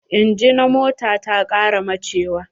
Inji na mota ta ƙara bachewa.